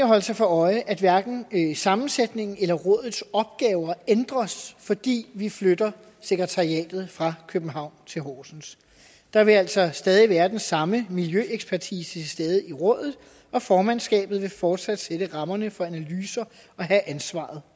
holde sig for øje at hverken sammensætningen eller rådets opgaver ændres fordi vi flytter sekretariatet fra københavn til horsens der vil altså stadig være den samme miljøekspertise til stede i rådet og formandskabet vil fortsat sætte rammerne for analyser og have ansvaret